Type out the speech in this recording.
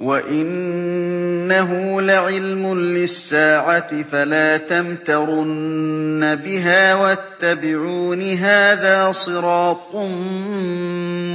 وَإِنَّهُ لَعِلْمٌ لِّلسَّاعَةِ فَلَا تَمْتَرُنَّ بِهَا وَاتَّبِعُونِ ۚ هَٰذَا صِرَاطٌ